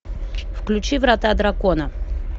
включи врата дракона